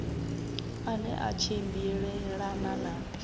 a ne a tshimbilelana na